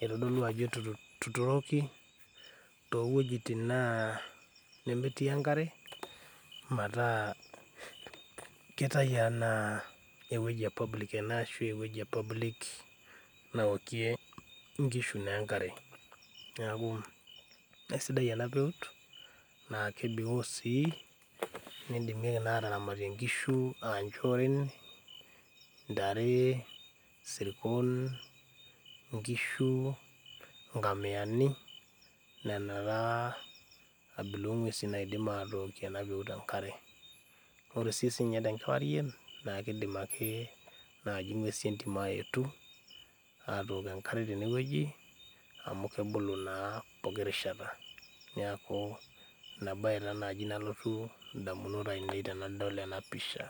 eitodolu ajo etutu etuturoki towuejitin naa nemetii enkare mataa keitai anaa ewueji e public ena ashu ewueji e public naokie inkishu naa enkare neaku aisidai ena peut naa kebiko osii nidimieki naa ataramata inkishu anchoren intare isirkon inkishu inkamiyani nenan taa abila ong'uesin naidim atookie ena peut enkare nore sii sininye tenkewarie naa kidim ake naaji ing'uesi entim ayetu atook enkare tenewueji amu kebolo naa poki rishata niaku ina baye taa naaji nalotu indamunot ainei tenadol ena pisha.